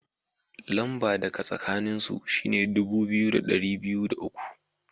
Lamba da ka tsakanin su shine dubu biyu da dari biyu da uku.